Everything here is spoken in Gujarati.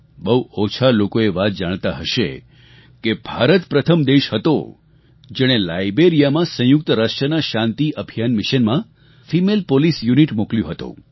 બહુ ઓછા લોકો એ વાત જાણતા હશે કે ભારત પ્રથમ દેશ હતો જેણે લાઈબેરિયામાં સંયુક્ત રાષ્ટ્રના શાંતિ અભિયાન મિશનમાં ફેમલે પોલીસ યુનિટ મોકલ્યું હતું